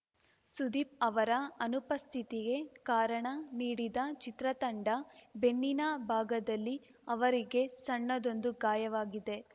ಸುದೀಪ್‌ ಅವರ ಅನುಪಸ್ಥಿತಿಗೆ ಕಾರಣ ನೀಡಿದ ಚಿತ್ರತಂಡ ಬೆನ್ನಿನ ಭಾಗದಲ್ಲಿ ಅವರಿಗೆ ಸಣ್ಣದೊಂದು ಗಾಯವಾಗಿದೆ